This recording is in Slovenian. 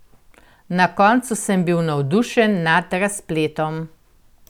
Na koncu sem bil navdušen nad razpletom!